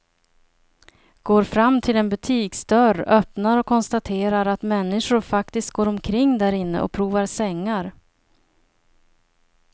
Går fram till en butiksdörr, öppnar och konstaterar att människor faktiskt går omkring därinne och provar sängar.